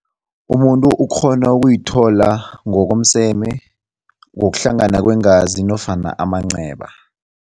Umuntu ukghona ukuyithola ngokomseme, ngokuhlangana kweengazi nofana amanceba.